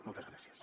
moltes gràcies